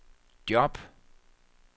job